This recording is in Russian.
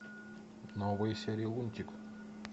новые серии лунтик